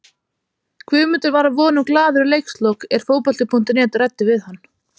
Guðmundur var að vonum glaður í leikslok er fótbolti.net ræddi við hann.